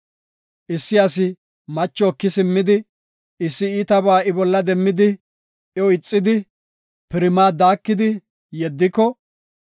Issi asi macho eki simmidi, issi iitabaa I bolla demmidi iyo ixidi, pirimaa daakidi, yeddiko,